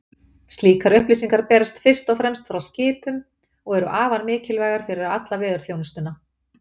Slíkar upplýsingar berast fyrst og fremst frá skipum og eru afar mikilvægar fyrir alla veðurþjónustuna.